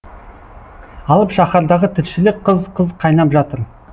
алып шаһардағы тіршілік қыз қыз қайнап жатыр